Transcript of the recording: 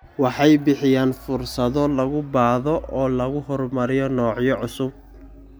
Waxay bixiyaan fursado lagu baadho oo lagu horumariyo noocyo cusub.